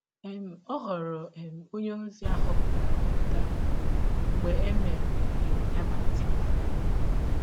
um Ọ ghọrọ um ọnye ozi a họpụtara ahọpụta mgbe e mere um ya baptism